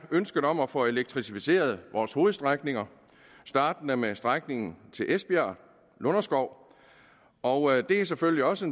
ønsket om at få elektrificeret vores hovedstrækninger startende med strækningen esbjerg lunderskov og det er selvfølgelig også